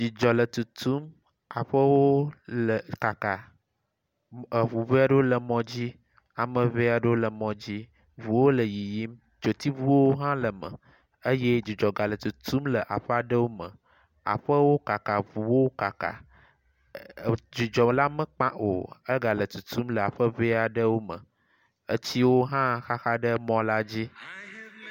Dzidzɔ le tutum, aƒewo le kaka mɔ eŋu ŋee aɖewo le mɔ dzi, ame ŋee aɖewo le mɔ dzi. Ŋuwo le yiyim, dzotsiŋuwo hã le eme eye dzidzɔ gale tutum le aƒe aɖe me. Aƒewo kaka, eŋuwo kaka, dzidzɔ la mekpa o egale tutum le aƒe ŋee aɖewo me. Etsiwo hã xaxa ɖe mɔ la dzi.